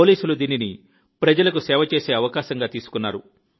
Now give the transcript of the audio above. పోలీసులు దీనిని ప్రజలకు సేవ చేసే అవకాశంగా తీసుకున్నారు